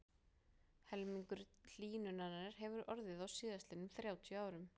Helmingur hlýnunarinnar hefur orðið á síðastliðnum þrjátíu árum.